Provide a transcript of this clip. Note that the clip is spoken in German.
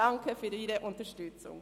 Danke für Ihre Unterstützung.